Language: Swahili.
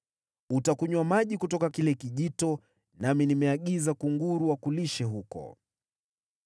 Utakunywa maji kutoka kile kijito, nami nimeagiza kunguru wakulishe huko.”